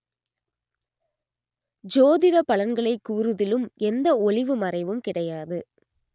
ஜோதிட பலன்களைக் கூறுதிலும் எந்த ஒளிவு மறைவும் கிடையாது